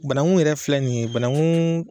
Bananku yɛrɛ filɛ nin ye bananku